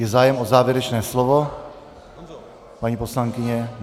Je zájem o závěrečné slovo, paní poslankyně?